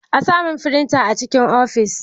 A samun firinta a cikin ofis.